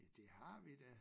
Ja det har vi da